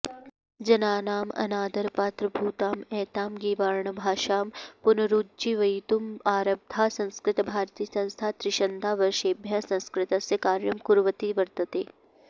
जनानाम् अनादरपात्रभूताम् एतां गीर्वाणभाषां पुनरुज्जीवयितुम् आरब्धा संस्कृतभारतीसंस्था त्रिंशदा वर्षेभ्यः संस्कृतस्य कार्यं कुर्वती वर्तते